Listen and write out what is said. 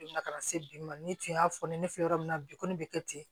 ka na se bi ma ne tun y'a fɔ ne fɛ yɔrɔ min na bi kɔni bɛ kɛ ten